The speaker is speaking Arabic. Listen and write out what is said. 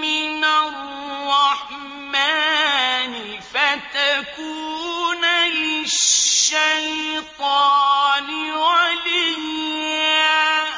مِّنَ الرَّحْمَٰنِ فَتَكُونَ لِلشَّيْطَانِ وَلِيًّا